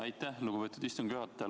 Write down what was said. Aitäh, lugupeetud istungi juhataja!